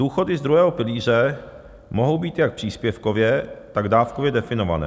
Důchody z druhého pilíře mohou být jak příspěvkově, tak dávkově definované.